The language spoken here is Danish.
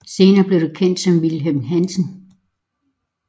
Senere blev det kendt som Wilhelm Hansen